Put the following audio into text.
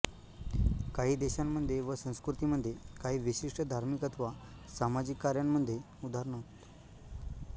काही देशांमध्ये व संस्कृतींमध्ये काही विशिष्ट धार्मिक अथवा सामाजिक कार्यामध्ये उदा